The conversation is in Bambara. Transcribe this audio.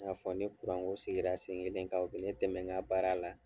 N y'a fɔ ni ko sigira sen kelen kan o be ne dɛmɛ ŋa baara la.